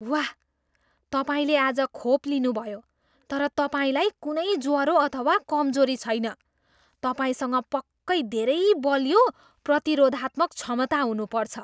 वाह! तपाईँले आज खोप लिनुभयो तर तपाईँलाई कुनै ज्वरो अथवा कमजोरी छैन। तपाईँसँग पक्कै धेरै बलियो प्रतिरोधात्मक क्षमता हुनुपर्छ!